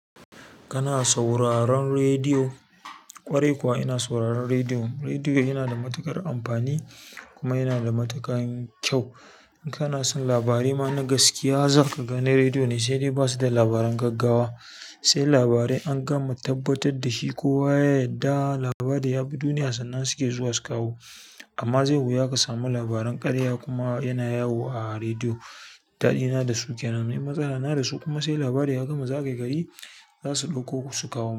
Kana sauraron rediyo? Ƙwarai kuwa ina sauraron rediyo, rediyo yana da matuƙar amfani kuma yana da matakan kyau. In kana son labarai ma na gaskiya, zaka ga na rediyo ne sai dai basu da labaran gaggawa, sai labarai an gama tabbatar da shi kowa. Da labari yabi duniya sannan suke zuwa su kawo. Amma zai wuya ka samu labaran ƙarya kuma yana yawo a rediyo. Daɗina da su ke nan, matsala na da su kuma sai labari ya gama zagaye gari. Za su ɗauko su kawo.